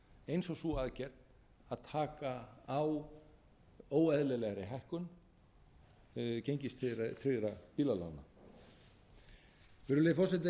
eins og sú aðgerð að taka á óeðlilegri hækkun gengistryggðra bílalána virðulegi forseti eins